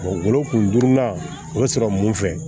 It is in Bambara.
worokun durunan o be sɔrɔ mun fɛ